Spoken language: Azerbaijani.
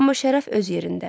Amma şərəf öz yerində.